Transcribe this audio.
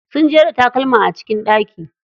Sun jera takalma a cikin ɗaki.